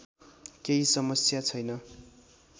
केही समस्या छैन